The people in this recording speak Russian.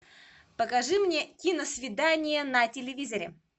покажи мне киносвидание на телевизоре